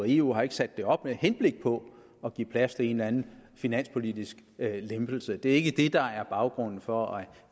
eu har sat det op med henblik på at give plads til en eller anden finanspolitisk lempelse det er ikke det der er baggrunden for at